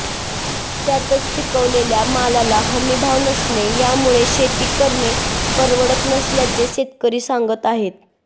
त्यातच पिकवलेल्या मालाला हमीभाव नसणे यामुळे शेती करणे परवडत नसल्याचे शेतकरी सांगत आहेत